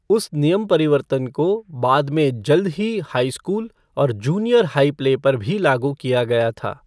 उस नियम परिवर्तन को बाद में जल्द ही हाई स्कूल और जूनियर हाई प्ले पर भी लागू किया गया था।